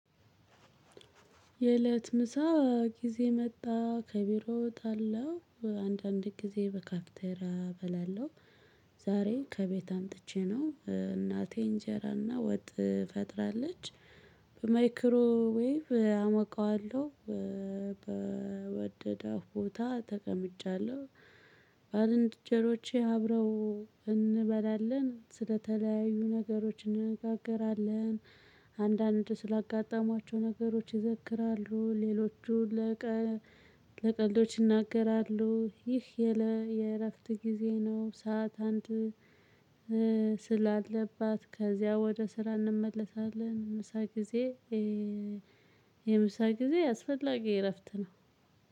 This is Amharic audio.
የእለት ምሳ ጊዜ መጣ። ከቢሮ እወጣለሁ። አንዳንድ ጊዜ በካፍቴራ በላለው። ዛሬ ከቤት አምጥቼ ነው። እናቴ እንጀራና ወጥ ፈጥራለች። በማይክሮዌቭ አሞቀዋለሁ። በወደዳፍ ቦታ ተቀምጫለሁ። ባልንጀሮቼ አብረው እንበላለን። ስለተለያዩ ነገሮች እንነጋገራለን። አንዳንድ ስላጋጠሟቸው ነገሮች ይዘክራሉ። ሌሎቹ ለቀ ለቀልዶች ይናገራሉ። ይህ የእለ የእረፍት ጊዜዬ ነው። ሰዓት አንድ ስላለባት ከዚያ ወደ ስራ እንመለሳለን። ምሳ ጊዜ የምሳ ጊዜ አስፈላጊ እረፍት ነው።